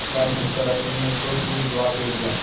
यह बात सुनकर रश्मि ने दो टूक जवाब दे दिया